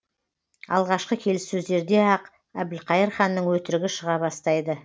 алғашқы келіссөздерде ақ әбілқайыр ханның өтірігі шыға бастайды